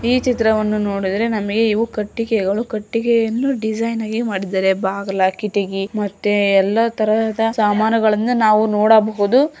ಈ ಚಿತ್ರವನ್ನು ನೋಡಿದರೆ ನಮಗೆ ಕಟ್ಟಿಗೆಗಳು ಡಿಸೈನ್ ಮಾಡಿದ್ದಾರೆ ಬಾಗಿಲು ಕಿಟಕಿ ಎಲ್ಲ ತರಹದ ಸಾಮಾನುಗಳನ್ನು ನಾವು ನೋಡಬಹುದು.